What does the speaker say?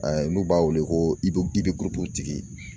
A n'u b'a wele ko i be i tigi